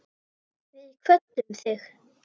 Við kvöddum þig.